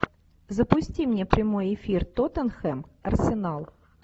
запусти мне прямой эфир тоттенхэм арсенал